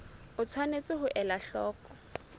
o tshwanetse ho ela hloko